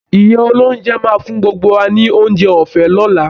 Ìyá olóúnjẹ máa fún gbogbo wa ni oúnjẹ ọ̀fẹ́ lọ́la